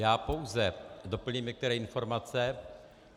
Já pouze doplním některé informace.